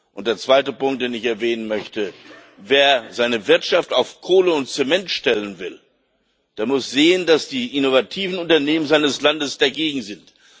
Und der zweite Punkt, den ich erwähnen möchte Wer seine Wirtschaft auf Kohle und Zement stellen will, der muss sehen, dass die innovativen Unternehmen seines Landes dagegen sind.